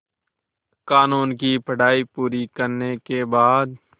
क़ानून की पढा़ई पूरी करने के बाद